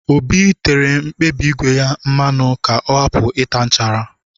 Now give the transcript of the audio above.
Obi tere mkpabi ígwè ya mmanụ ka ọ hapụ ịta nchara